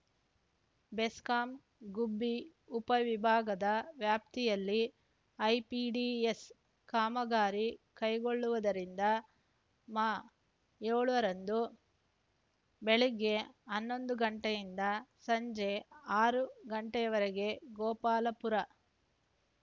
ಬೆಸ್ಕಾಂ ಗುಬ್ಬಿ ಉಪವಿಭಾಗದ ವ್ಯಾಪ್ತಿಯಲ್ಲಿ ಐಪಿಡಿಎಸ್ ಕಾಮಗಾರಿ ಕೈಗೊಳ್ಳುವುದರಿಂದ ಮಾ ಏಳರಂದು ಬೆಳಿಗ್ಗೆ ಹನ್ನೊಂದು ಗಂಟೆಯಿಂದ ಸಂಜೆ ಆರು ಗಂಟೆವರೆಗೆ ಗೋಪಾಲಪುರ